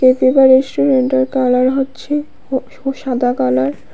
রেস্টুরেন্টের কালার হচ্ছে ও ও সাদা কালার ।